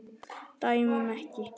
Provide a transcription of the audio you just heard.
Dæmum ekki.